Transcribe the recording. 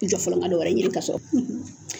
I Jɔ fɔlɔ ka nin wari ɲini ka sɔrɔ